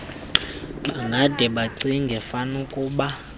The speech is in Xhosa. bangade bacinge fanukuba